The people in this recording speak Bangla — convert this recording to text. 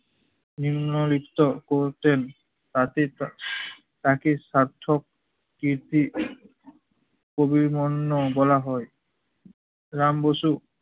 নিম্নলিখিত করতেন তাতে তা তাকে সার্থক কীর্তি কবির মন্য বলা হয় রাম বসু